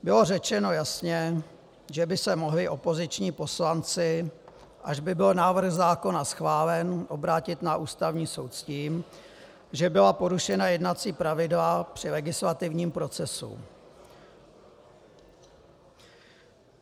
Bylo řečeno jasně, že by se mohli opoziční poslanci, až by byl návrh zákona schválen, obrátit na Ústavní soud s tím, že byla porušena jednací pravidla při legislativním procesu.